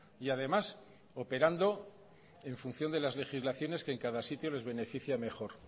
y además operando en función de las legislaciones que en cada sitio les beneficia mejor